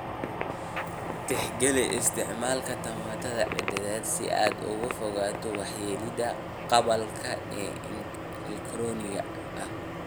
Tixgeli isticmaalka tamarta cadceedda si aad uga fogaato waxyeelada qalabka elektaroonigga ah